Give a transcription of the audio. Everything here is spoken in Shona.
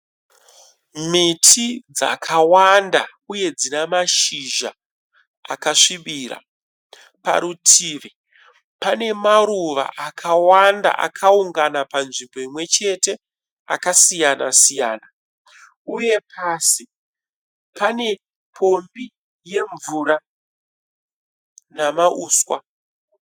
Miti dzakawanda uye dzinamashizha akasvibira parutivi Pane maruva akawanda akaungana panzvimbo imwe chete akasiyana siyana uye pasi pane pombi yemvura namauswa